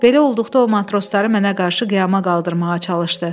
Belə olduqda o matrosları mənə qarşı qiyama qaldırmağa çalışdı.